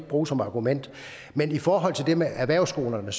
bruge som argument men i forhold til det med erhvervsskolerne